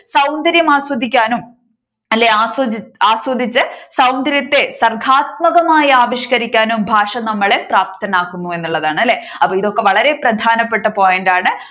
സൗന്ദര്യം ആസ്വദിക്കാനും അല്ലേ ആസ്വ ആസ്വദിച്ച് സൗന്ദര്യത്തെ സർഗാത്മകമായി ആവിഷ്കരിക്കാനും ഭാഷ നമ്മളെ പ്രാപ്തരാക്കുമോ എന്നുള്ളതാണ് അല്ലേ അപ്പോൾ ഇതൊക്കെ വളരെ പ്രധാനപ്പെട്ട point ആണ്